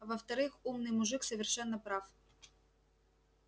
а во-вторых умный мужик совершенно прав